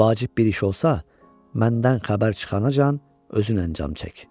Vacib bir iş olsa, məndən xəbər çıxana can özünə cam çək.